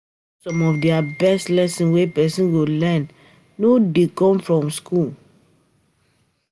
Some of di best lesson wey person go learn no dey come from school.